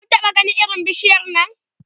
Kun taɓa ganin irin bishiyar Nan?